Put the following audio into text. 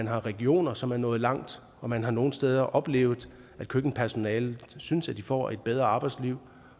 har regioner som er nået langt og man har nogle steder oplevet at køkkenpersonalet synes at de får et bedre arbejdsliv